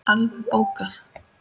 Alveg bókað!